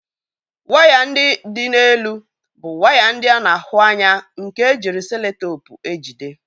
Waya ndị dị n'elu bụ waya a na-ahụ anya nke ejiri seloteepu ejide